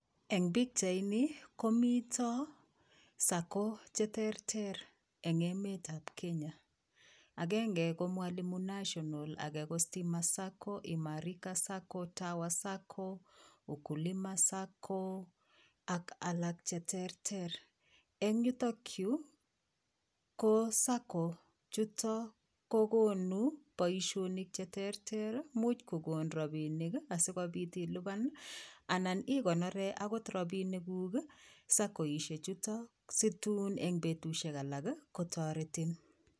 Eng pichait nii komitaa savings and credit cooperative society che terter eng emet ab Kenya agenge, ko mwalimu sacco, age ko stima sacco, age ko imarisha sacco ,tower sacco ,ukilima sacco, ak alaak che terter en yutoon yuu ko saving and credit cooperative society chutoon ko konuu boisionik che terter imuuch kokoon rapinik asikobiit ilupaan ii anan igonoreen akoot rapinik guug sacco isheeek chutoon situun en betusiek alaak ii kotaretiin.